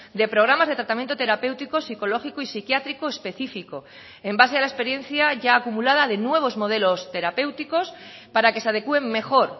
de programas de tratamiento terapéutico psicológico y psiquiátrico específico en base a la experiencia ya acumulada de nuevos modelos terapéuticos para que se adecúen mejor